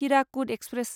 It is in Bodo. हिराकुद एक्सप्रेस